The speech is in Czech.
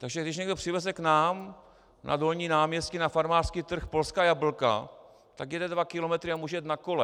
Takže když někdo přiveze k nám na Dolní náměstí na farmářský trh polská jablka, tak jede dva kilometry a může jet na kole.